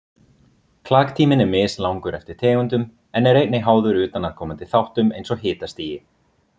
Klaktíminn er mislangur eftir tegundum en er einnig háður utanaðkomandi þáttum eins og hitastigi.